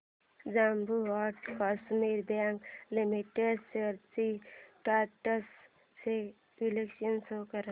Jammu and Kashmir bank limited shares trends चे विश्लेषण show कर